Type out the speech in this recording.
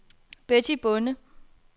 Betty Bonde